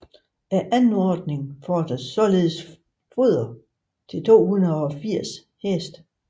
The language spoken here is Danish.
Anordning fordres således foder til 280 heste